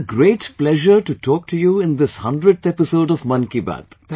It is a great pleasure to talk to you in this 100th episode of Mann Ki Baat